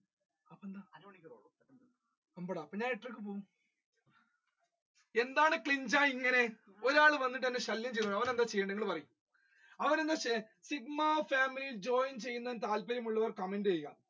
എന്താണ് ഇങ്ങനെ ഒരാൾ വന്ന് എന്നെ ശല്യം ചെയ്തു ഓൻ എന്താ ചെയ്തത് നിങ്ങൾ പറയു sigma family യിൽ join ചെയ്യാൻ താല്പര്യമുള്ളവർ comment ചെയ്യുക